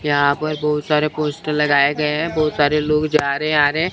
यहां पर बहुत सारे पोस्टर लगाए गए हैं बहुत सारे लोग जा रहे आ रहे हैं।